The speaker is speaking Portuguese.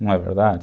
Não é verdade?